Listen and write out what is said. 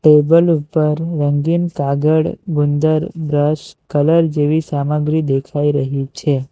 Table ઉપર રંગીન કાગળ ગુંદર બ્રશ કલર જેવી સામગ્રી દેખાઈ રહી છે.